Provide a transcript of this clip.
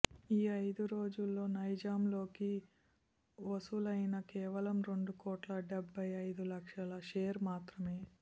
ఈ అయిదు రోజుల్లో నైజాంలో లైకి వసూలయినవి కేవలం రెండు కోట్ల డెబ్బయ్ అయిదు లక్షల షేర్ మాత్రమే